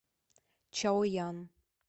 чаоян